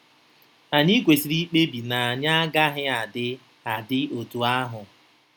Anyị kwesịrị ikpebi na anyị agaghị adị adị otú ahụ!